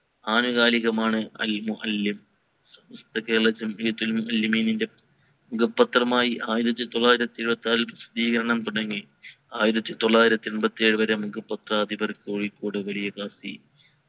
ആനുകാലിക മാൻ അൽ മുഹല്ലിം കേരളം ജംഈയത്തുൽ ഉലമമീൻറെ മുഖ പത്രമായി ആയിരത്തി തൊള്ളായിരത്തി ഏഴ്വത്തി ആറിൽ പ്രാസദീകരണം തുടങ്ങി ആയിരത്തി തൊള്ളായിരത്തി എൺപത്തി ഏഴ് വരെ മുഖ പത്രാധിപർ കോഴിക്കോട് വലിയ കാസി